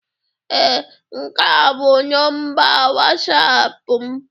Ee, nke a bụ nọmba Wọsapụ m